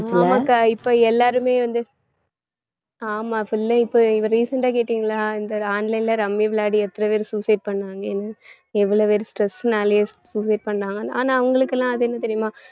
ஆமா அக்கா இப்ப எல்லாருமே வந்து ஆமா full ஆ இப்ப recent ஆ கேட்டிங்களா இந்த online ல ரம்மி விளையாடி எத்தன பேர் suicide பண்ணாங்கன்னு எவ்வளவு பேர் stress னாலே suicide பண்ணாங்கன்னு ஆனா அவங்களுக்கெல்லாம் அது என்ன தெரியுமா